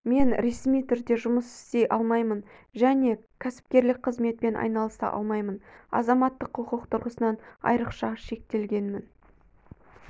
мен ресми түрде жұмыс істей алмаймын және кәсіпкерлік қызметпен айналыса алмаймын азаматтық құқық тұрғысынан айрықша шектелгенмін